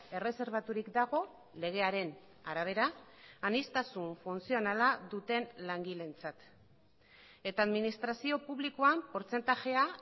erreserbaturik dago legearen arabera aniztasun funtzionala duten langileentzat eta administrazio publikoan portzentajea